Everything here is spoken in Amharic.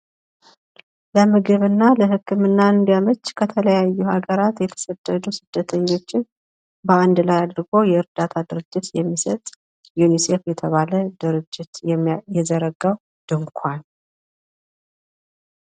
ለምግብ እና ለ ህክምና እንንዲያመች ከተለያዩ ሃገራት የተሰደዱ ስደተኞችን በአንድ ላይ አድርጎ የእርዳታ ድርጅት የሚሰጥ ዩኒሴፍ የተባለ ድርጅት የዘረጋው ድንኳን።